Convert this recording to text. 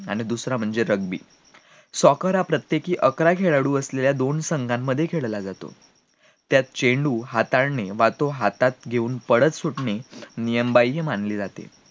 आणि दुसरा म्हणजे rugbysoccer हा प्रत्येकी अकरा खेळाडू असलेल्या दोन संघांमध्ये खेळला जातो त्यात चेंडू हाताळणे वा तो चेंडू हातात घेऊन पळत सुटणे नियमबाह्य मानले जाते